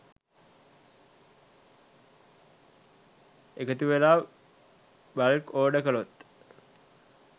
එකතුවෙලා bulk order කළොත්